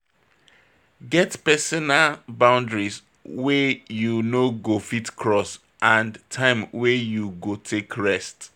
Get personal boundaries wey you no go fit cross and time wey you go take rest